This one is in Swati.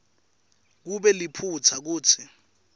kube liphutsa kutsi